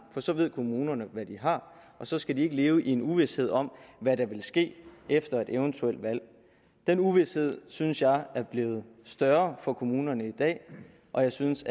for så ved kommunerne hvad de har og så skal de ikke leve i uvished om hvad der vil ske efter et eventuelt valg den uvished synes jeg er blevet større for kommunerne i dag og jeg synes